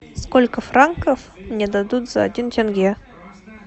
сколько франков мне дадут за один тенге